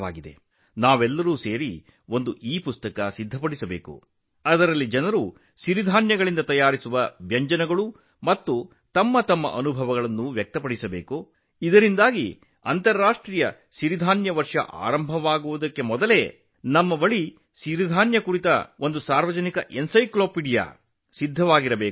ಜನರ ಈ ಉತ್ಸಾಹವನ್ನು ನೋಡಿ ನಾವು ಒಟ್ಟಾಗಿ ಇಪುಸ್ತಕವೊಂದನ್ನು ಸಿದ್ಧಪಡಿಸಬೇಕು ಎಂದು ನಾನು ಭಾವಿಸುತ್ತೇನೆ ಅದರಲ್ಲಿ ಜನರು ತಮ್ಮ ಅನುಭವಗಳನ್ನು ಮತ್ತು ಸಿರಿಧಾನ್ಯಗಳಿಂದ ಮಾಡಿದ ತಿನಿಸುಗಳ ಬಗ್ಗೆ ಮಾಹಿತಿ ಹಂಚಿಕೊಳ್ಳಬಹುದು ಆದ್ದರಿಂದ ಅಂತರರಾಷ್ಟ್ರೀಯ ಸಿರಿಧಾನ್ಯ ವರ್ಷ ಪ್ರಾರಂಭವಾಗುವ ಮೊದಲು ನಾವು ಸಾರ್ವಜನಿಕ ವಿಶ್ವಕೋಶವನ್ನು ಹೊಂದಿರುತ್ತೇವೆ